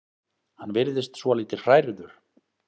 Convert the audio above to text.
Hann virðist svolítið hrærður.